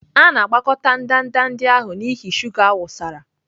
A na-agbakọta ndanda ndị ahụ n'ihi shuga a wụsara.